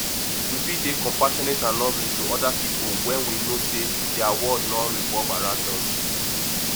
we fit dey compassionate and loving to oda pipo when we know sey di world no revolve around us